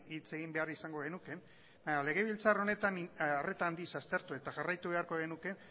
hitz egin behar izango genuke baina legebiltzar honetan arreta handiz aztertu eta jarraitu beharko genuke